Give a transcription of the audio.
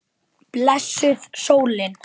Blessuð sólin.